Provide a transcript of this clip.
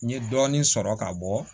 N ye dɔɔnin sɔrɔ ka bɔ